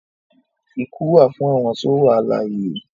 Ikú wà fún awọn tó wà alàìyé